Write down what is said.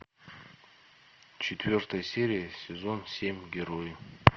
четвертая серия сезон семь герои